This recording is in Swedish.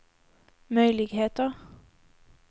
möjligheter